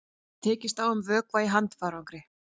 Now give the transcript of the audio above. Tekist á um vökva í handfarangri